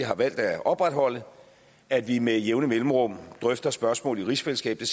har valgt at opretholde at vi med jævne mellemrum drøfter spørgsmål i rigsfællesskabet